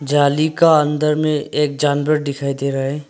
जाली का अंदर में एक जानवर दिखाई दे रहा है।